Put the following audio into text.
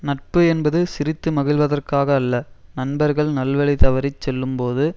நட்பு என்பது சிரித்து மகிழ்வதற்காக அல்ல நண்பர்கள் நல்வழி தவறி செல்லும்போது